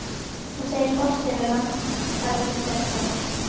Hvað segir forstjóri Landhelgisgæslunnar?